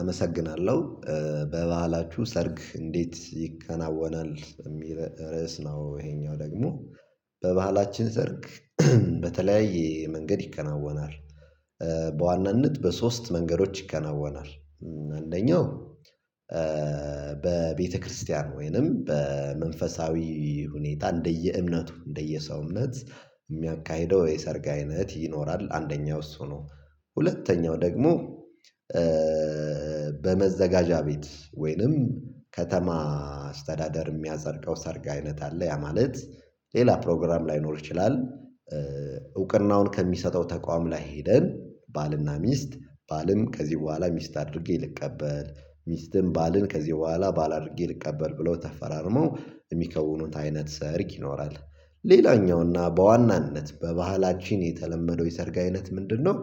አመሰግናለሁ። በበዓላችሁ ሰርግ እንዴት ይከናወናል የሚል ርዕስ ነው። ይሄኛው ደግሞ በባህላችን ሰርግ በተለያየ መንገድ ይከናወናል። በዋናነት በሶስት መንገዶች ይከናወናል። አንደኛው በቤተክርስቲያን ወይንም በመንፈሳዊ ሁኔታ እንደየእምነቱ እንደየሰው እምነት እሚያካሂደው የሰርግ አይነት ይኖራል። አንደኛው እሱ ነው። ሁለተኛው ደግሞ በመዘጋጃ ቤት ወይንም ከተማ አስተዳደር እሚያፀድቀው አይነት ሰርግ አይነት አለ። ያ ማለት ሌላ ፕሮግራም ላይኖር ይችላል። እውቅናውን ከሚሰጠው ተቋም ላይ ሄደን ባልና ሚስት ባልም ከዚህ በኋላ ሚስት አድርጌ ልቀበል ሚስትም ባልን ከዚህ በኋላ ባል አድርጌ ልቀበል ብሎ ተፈራርመው የሚከውኑት አይነት ሰርግ ይኖራል። ሌላኛውና በዋናነት በባህላችን የተለመደው የሰርግ አይነት ምንድነው?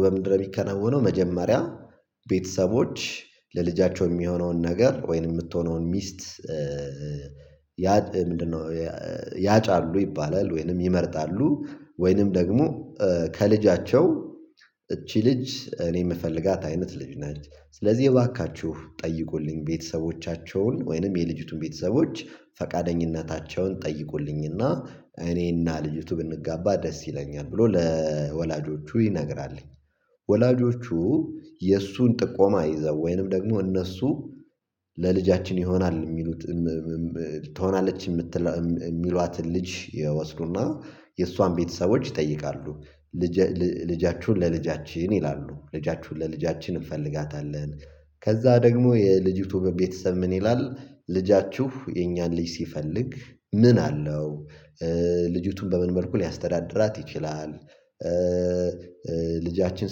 በምንድን ነው እሚከናወነው? መጀመሪያ ቤተሰቦች ለልጃቸው የሚሆነውን ነገር ወይንም የምትሆነውን ሚስት። ምንድነው? ያጫሉ ይባላል ወይንም ይመርጣሉ ወይንም ደግሞ ከልጃቸው እቺ ልጅ እኔ የምፈልጋት አይነት ልጅ ነች። ስለዚህ እባካችሁ ጠይቁልኝ ቤተሰቦቻቸውን ወይንም የልጅቱን ቤተሰቦች ፈቃደኝነታቸውን ጠይቁልኝና እኔና ልጅቱ ብንጋባ ደስ ይለኛል ብሎ ለወላጆቹ ይነግራልኝ። ወላጆቹ የእሱን ጥቆማ ይዘው ወይንም ደግሞ እነሱ ይሆናል የሚሉት ትሆናለች እሚሏትን ልጅ ይወስዱና የእሷን ቤተሰቦች ይጠይቃሉ። ልጅአችሁን ለልጃችን ይላሉ ልጃችሁን ለልጃችን እንፈልጋታለን ከዛ ደግሞ የልጅቱ ቤተሰብ ምን ይላል? ልጃችሁ የእኛን ልጅ ሲፈልግ ምን አለው? ልጅቱን በምን መልኩ ሊያስተዳድራት ይችላል? ልጃችን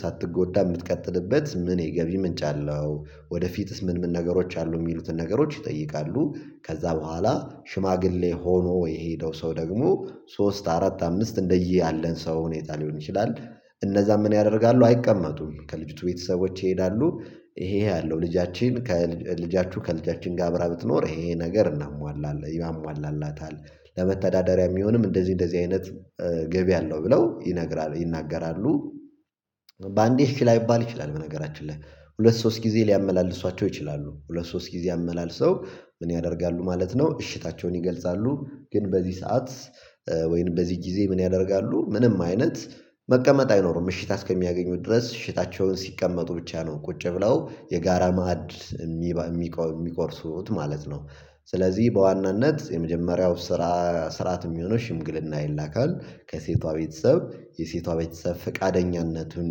ሳትጎዳ እምትቀጥልበት ምን የገቢ ምንጭ አለው? ወደፊትስ ምን ምን ነገሮች አሉ የሚሉትን ነገሮች ይጠይቃሉ። ከዛ በኋላ ሽማግሌ ሆኖ የሄደው ሰው ደግሞ ሶስት አራት አምስት እንደየአለን ሰው ሁኔታ ሊሆን ይችላል። እነዛም ምን ያደርጋሉ አይቀመጡም ከልጅቱ ቤተሰቦች ይሄዳሉ። ይሄ ይሄ አለው ልጃችን ከልጃችሁ ከልጃችን ጋር አብራ ብትኖር ይሄ ነገር እናሟላለን ያሟላላታል ለመተዳደሪያ እሚሆንም እንደዚህ እንደዚህ አይነት ገቢ አለው ብለው ይነግራሉ ይናገራሉ። በአንዴ እሽ ላይባል ይችላል በነገራችን ላይ ሁለት ሶስት ጊዜ ሊያመላልሷቸው ይችላሉ። ሁለት ሶስት ጊዜ አመላልሰው ምን ያደርጋሉ ማለት ነው እሽታቸውን ይገልጻሉ። ግን በዚህ ሰዓት ወይም በዚህ ጊዜ ምን ያደርጋሉ? ምንም አይነት መቀመጥ አይኖርም እሽታ አስከሚያገኙ ድረስ እሽታቸውን ሲቀመጡ ብቻ ነው ቁጭ ብለው የጋራ ማዕድ እሚቆርሱት ማለት ነው። ስለዚህ በዋናነት የመጀመሪያው ስራ ስራት የሚሆነው ሽምግልና ይላካል። ከሴቷ ቤተሰብ የሴቷ ቤተሰብ ፈቃደኝነቱን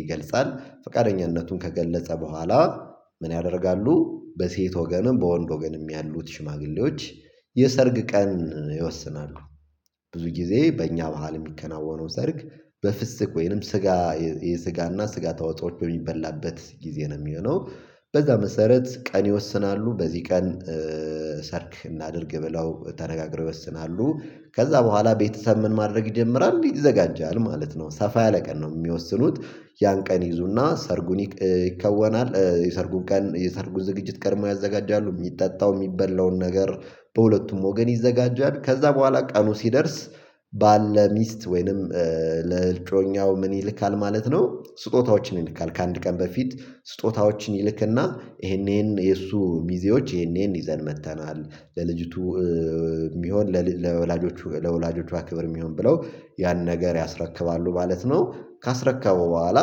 ይገልጻል። ፍቃደኝነቱን ከገለጸ በኋላ ምን ያደርጋሉ? በሴት ወገንም በወንድ ወገንም ያሉት ሽማግሌዎች የሰርግ ቀን ይወስናሉ። ብዙ ጊዜ በእኛ በዓል የሚከናወነው ሰርግ በፍስክ ወይንም ስጋ የስጋና ስጋ ተዋጽኦወች በሚበላበት ጊዜ ነው የሚሆነው። በዛ መሰረት ቀን ይወስናሉ በዚህ ቀን ሰርግ እናድርግ ብለው ተነጋግረው ይወስናሉ። ከዛ በኋላ ቤተሰብ ምን ማድረግ ይጀምራል ይዘጋጃል ማለት ነው ሰፋ ያለ ቀን ነው የሚወስኑት። ያን ቀን ይይዙና ሰርጉን ይከወናል። የሰርጉን ቀን የሰርጉን ዝግጅት ቀድሞ ያዘጋጃሉ እሚጠጣው የሚበላውን ነገር በሁለቱም ወገን ይዘጋጃል። ከዛ በኋላ ቀኑ ሲደርስ ባል ለሚስት ወይንም ለእጮኛው ምን ይልካል ማለት ነው። ስጦታዎችን ይልካል ከአንድ ቀን በፊት ስጦታዎችን ይልክና ይሄን ይሄን የእሱ ሚዜዎች ይሄን ይሄን ይዘን መጥተናል። ለልጅቱ እሚሆን ለወላጆቹ ለወላጆቿ ክብር የሚሆን ብለው ያን ነገር ያስረክባሉ ማለት ነው። ካስረከበው በኋላ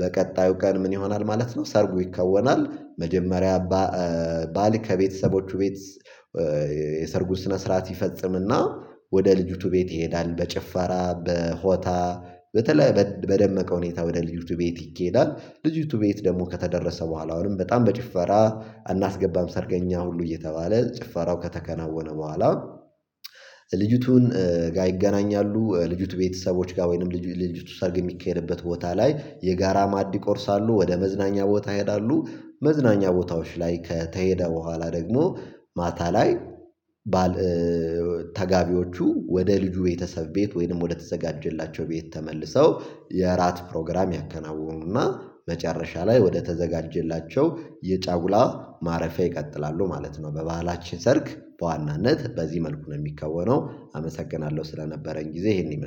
በቀጣዩ ቀን ምን ይሆናል ማለት ነው ሰርጎ ይከወናል። መጀመሪያ ባል ከቤተሰቦቹ ቤት የሰርጉ ስነ ስርዓት ይፈጽምና ወደ ልጅቱ ቤት ይሄዳል። በጭፈራ በሆታ በተለይ በደመቀ ሁኔታ ወደ ልጅቱ ቤት ይኬዳል። ልጅቱ ቤት ደግሞ ከተደረሰ በኋላ አሁንም በጣም በጭፈራ እናስገባም ሰርገኛ ሁሉ እየተባለ ጭፈራው ከተከናወነ በኋላ ልጅቱን ጋር ይገናኛሉ። ልጅቱ ቤተሰቦች ጋር ወይንም ልጅ ልጅ ልጅቱ ሰርግ የሚካሄድበት ቦታ ላይ የጋራ ማድ ይቆርሳሉ ወደ መዝናኛ ቦታ ይሄዳሉ። መዝናኛ ቦታዎች ላይ ከተሄደ በኋላ ደግሞ ማታ ላይ ባል ተጋቢዎቹ ወደ ልጁ ቤተሰብ ቤት ወይንም ወደ ተዘጋጀላቸው ቤት ተመልሰው የእራት ፕሮግራም ያከናወኑና። መጨረሻ ላይ ወደ ተዘጋጀላቸው የጫጉላ ማረፊያ ይቀጥላሉ ማለት ነው። በባህላችን ሰርግ በዋናነት በዚህ መልኩ ነው የሚከወነው። አመሰግናለሁ ስለነበረኝ ጊዜ ይሄንን ይመስላል